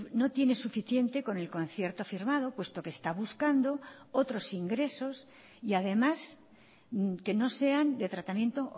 no tiene suficiente con el concierto firmado puesto que está buscando otros ingresos y además que no sean de tratamiento